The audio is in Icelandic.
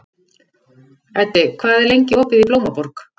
Eddi, hvað er lengi opið í Blómaborg?